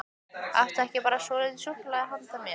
Áttu ekki bara svolítið súkkulaði handa mér?